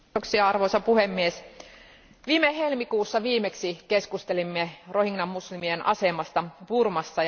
Arvoisa puhemies, viime helmikuussa viimeksi keskustelimme rohingya muslimien asemasta Burmassa.